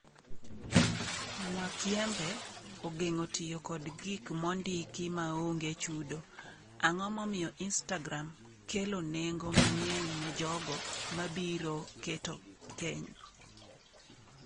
Mwakyembe: Ogeng'o tiyo kod gik mondiki maonge chudo. Ang'o momiyo Instagram kelo nengo mang'eny ne jogo mabiro keto keny?